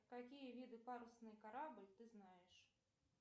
какие виды парусный корабль ты знаешь